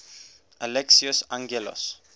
alexios angelos